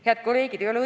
Head kolleegid!